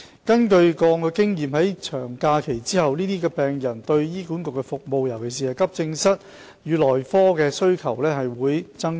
根據過往經驗，在長假期後，這些病人對醫管局的服務，尤其是急症室與內科的需求會增加。